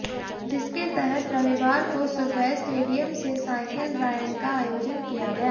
जिसके तहत रविवार को सुबह स्टेडियम से साइकिल राइड का आयोजन किया गया